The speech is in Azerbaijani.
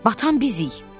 Batan bizik.